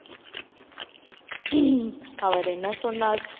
அவர் என்ன சொன்னார்